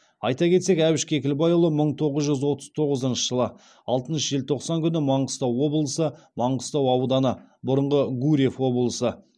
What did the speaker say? айта кетсек әбіш кекілбайұлы мың тоғыз жүз отыз тоғызыншы жылы алтыншы желтоқсан күні маңғыстау облысы маңғыстау ауданы